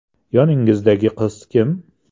Yoningizdagi qiz kim?